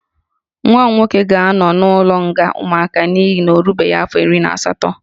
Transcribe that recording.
Nwa m nwoke ga-anọ n'ụlọ nga ụmụaka n'ihi na ọ erubeghị afọ iri na asatọ